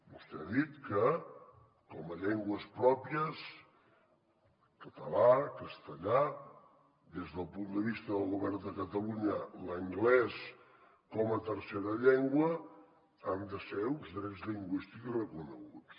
vostè ha dit que com a llengües pròpies català castellà des del punt de vista del govern de catalunya l’anglès com a tercera llengua han de ser uns drets lingüístics reconeguts